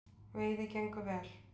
Veiði gengur vel.